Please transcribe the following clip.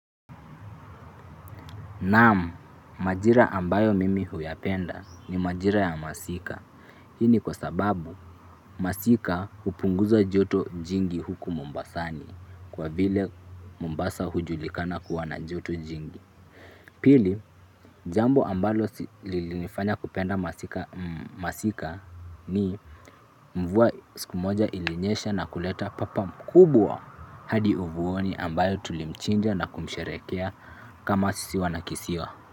Naam. Majira ambayo mimi huyapenda ni majira ya masika. Hii ni kwa sababu masika hupunguza joto jingi huku mombasani kwa vile Mombasa hujulikana kuwa na joto jingi. Pili, jambo ambalo lilinifanya kupenda masika, ni mvua siku moja ilinyesha na kuleta papa mkubwa. Hadi uvuoni ambayo tulimchinja na kumsherehekea kama sisi wana kisiwa.